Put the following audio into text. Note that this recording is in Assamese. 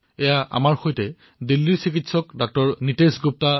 আহক আমাৰ সৈতে আছে দিল্লীৰ চিকিৎসক নীতেশ গুপ্তা